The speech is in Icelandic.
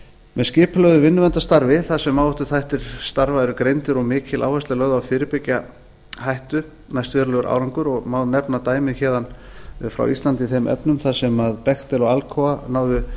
með skipulögðu vinnuverndarstarfi þar sem áhættuþættir starfa eru greindir og mikil áhersla er lögð á að fyrirbyggja hættu næst verulegur árangur má nefna dæmi héðan frá íslandi í þeim efnum þar sem bechtel og alcoa náðu